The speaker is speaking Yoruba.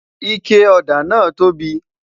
ike òdà nà tobi